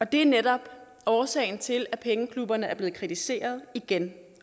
det er netop årsagen til at pengeklubberne er blevet kritiseret igen